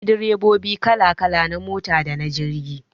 Akwai direbobi kala kala na mota dana jirgi